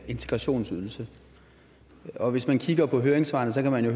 integrationsydelse og hvis man kigger på høringssvarene kan man jo